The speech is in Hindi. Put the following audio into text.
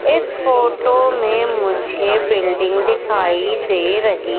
इस फोटो में मुझे बिल्डिंग दिखाई दे रही--